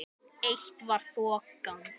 Eitt var þokan.